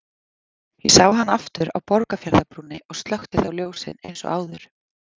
Ég sá hann aftur á Borgarfjarðarbrúnni og slökkti þá ljósin eins og áður.